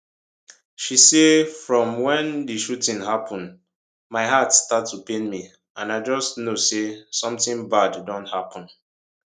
she say from wen di shooting happun my heart start to pain me and i just know say somtin bad don happun